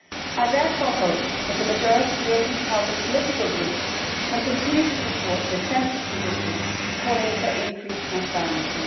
I therefore hope that the majority of the European Parliament political groups can continue to support this centrist position calling for increased transparency.